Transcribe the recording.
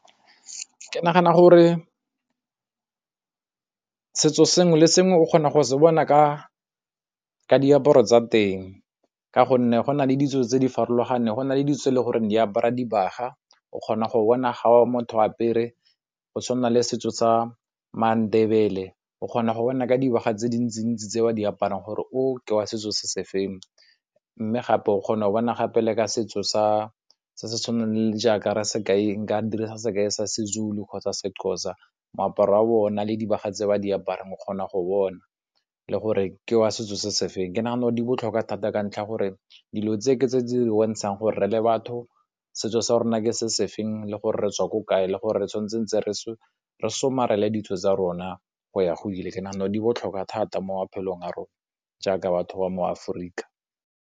Ke nagana gore setso sengwe le sengwe o kgona go se bona ka diaparo tsa teng. Ka gonne, go na le ditso tse di farologaneng, go na le ditso tse e le goreng di apara dibaga. O kgona go bona ga motho a apere, go tshwana le setso sa Mandebele o kgona go bona ka dibaga tse dintsi-ntsi tse ba di aparang gore o ke wa setso se se feng. Mme gape o kgona go bona gape le ka setso sa, se se tshwanang le jaaka re se kaeng nka dirisa sekai sa Sezulu kgotsa Sexhosa, moaparo wa bona le dibaga tse ba di aparang o kgona go bona le gore ke wa setso se se feng. Ke nagana gore di botlhokwa thata ka ntlha gore dilo tse ke tse di bontshang gore re le batho setso sa rona ke se se feng le gore re tswa ko kae le gore re tshwan'tse re somarele ditso tsa rona go ya go ile. Ke nagana gore di botlhokwa thata mo maphelong a rona jaaka batho ba mo Aforika.